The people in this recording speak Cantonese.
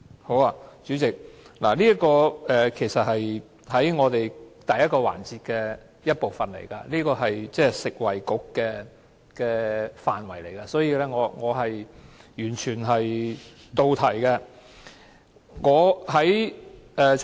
好的，代理主席，這其實是第一個環節的一部分，是食物及衞生局的範圍，所以我完全是到題的。